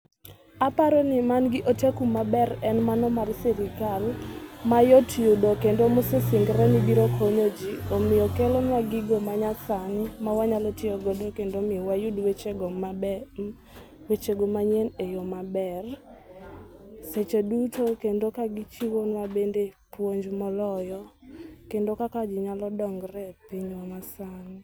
Aparoni mangi oteku maber en mano mar sirikal mayot yudo kendo mosesingre ni biro konyoji omiyo kelonwa gigo manyasani mawanyalo tiyo godo kendo miyo wayude weche go maber. wechego manyien eyo maber seche duto kendo kagichiwonwa bende puonj moloyo kendo kaka ji nyalo dongre epinywa masani.